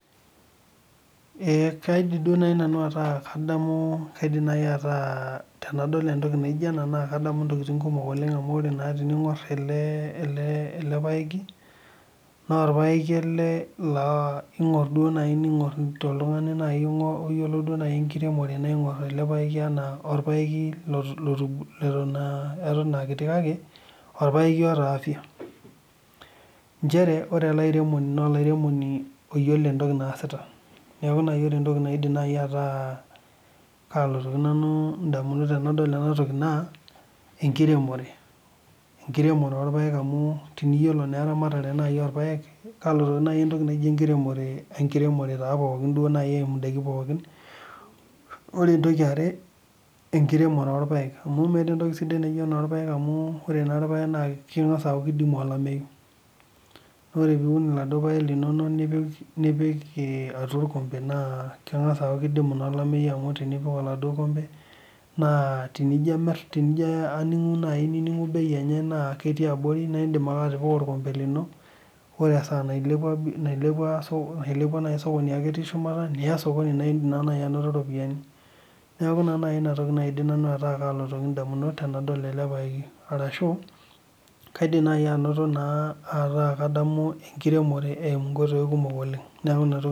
Kaidim naaji ataa tenadol entoki naijio ena naa kadamu ntokitin kumok oleng amu tening'or ele paeki naa orpaeki ele laa tening'or oltung'ani duo oyiolo enkiremore naa eng'or ele paeki ena orpaeki otubulua leton akiti kake orpaeki otaa afya njere ore ele airemoni naa olairemoni otaa entoki naasita neeku ore naaji entoki naa kalotu nanu ndamunot ainei naa enkiremore orpaek amu teniyiolo naaji entoki naijio ena naa enkiremore eyimu edakii pokin ore entoki yaare enkiremore naa enkiremore orpaek amu meeta entoki sidai enaa enkiremore orpaek amu ore irpaek naa kidimi olamei naa ore piun eladuo paek nipik atua orkompe naa keng'as aaku kidimi naa olameyu amu tenipik atua oladuo kompe amu tenijoo amir tenijo aning'u bei enye ketii abori naa edim ake atipika atua orkompe lino ore esaa nailepua sokoni aku ketii shumata Niya sokoni naidim naaji anoto ropiani neeku naaji enotoko naidim ayeu nanu ndamunot tenadol ele paeki arashu kaidim naaji ataa kadamu enkiremore eyimu nkoitoi kumok oleng neeku enatoki